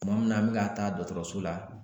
Tuma min na an bɛ ka taa dɔgɔtɔrɔso la